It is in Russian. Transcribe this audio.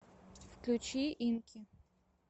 включи инки